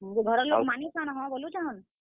ହଁ, ଯେ ଘରର ଲୋକ ମାନୁଛନ୍, ହଁ ବୋଲୁଛନ୍?